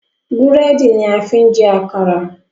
Búrẹ́dì ni a fi ń jẹ́ àkàrà